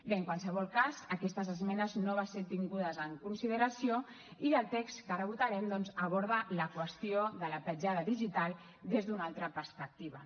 bé en qualsevol cas aquestes esmenes no van ser tingudes en consideració i el text que ara votarem doncs aborda la qüestió de la petjada digital des d’una altra perspectiva